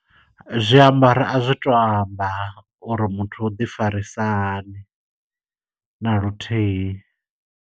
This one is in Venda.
Zwiambaro a zwi tu amba, uri muthu u ḓi farisa hani na luthihi.